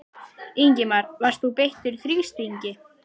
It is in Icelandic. Ingimar: Varst þú beittur þrýstingi?